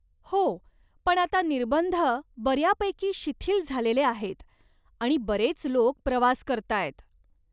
हो, पण आता निर्बंध बऱ्यापैकी शिथिल झालेले आहेत आणि बरेच लोक प्रवास करतायत.